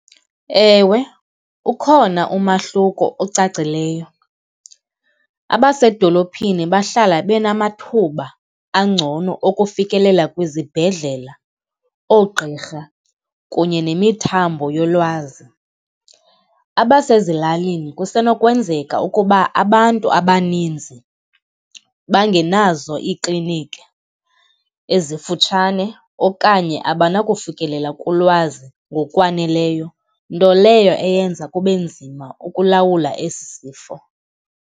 Ewe, ukhona umahluko ocacileyo. Abasedolophini bahlala benamathuba angcono okufikelela kwizibhedlela, oogqirha kunye nemithambo yolwazi. Abasezilalini kusenokwenzeka ukuba abantu abaninzi bangenazo ikliniki ezifutshane okanye abanakufikelela kulwazi ngokwaneleyo, nto leyo eyenza kube nzima ukulawula esi sifo.